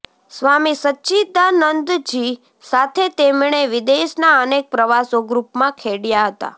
સ્વામી સચ્ચીદાનંદજી સાથે તેમણે વિદેશના અનેક પ્રવાસો ગૃપમાં ખેડયા હતા